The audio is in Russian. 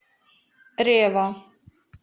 рева